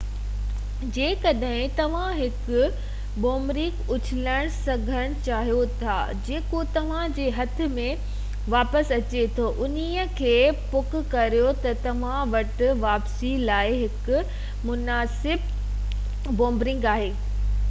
جيڪڏهن توهان هڪ بُومرينگ اُڇلڻ سکڻ چاهيو ٿا جيڪو توهان جي هٿ ۾ واپس اچي ٿو انهي کي پڪ ڪريو ته توهان وٽ واپسي لاءِ هڪ مناسب بُومرينگ آهي